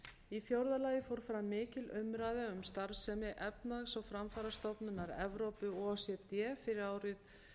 í fjórða lagi fór fram mikil umræða um starfsemi efnahags og framfarastofnunar evrópu fyrir árið